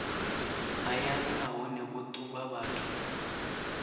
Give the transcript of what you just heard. hayani nahone vho ṱuvha vhathu